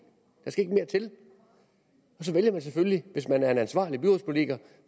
der skal ikke mere til og så vælger man selvfølgelig hvis man er en ansvarlig byrådspolitiker